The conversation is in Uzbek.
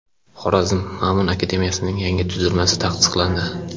Xorazm Ma’mun akademiyasining yangi tuzilmasi tasdiqlandi.